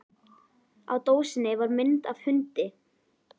Á dósinni var mynd af hundi.